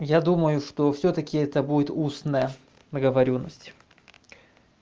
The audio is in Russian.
я думаю что всё-таки это будет устная договорённость